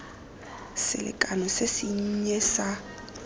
selekano se se nnye sa